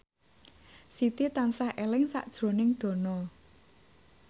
Siti tansah eling sakjroning Dono